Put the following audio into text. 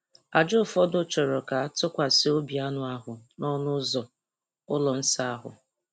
Àjà ụfọdụ chọrọ ka a tụkwasị obi anụ ahụ n’ọnụ ụzọ ụlọ nsọ ahụ.